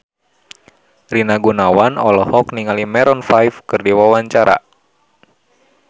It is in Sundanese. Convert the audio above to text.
Rina Gunawan olohok ningali Maroon 5 keur diwawancara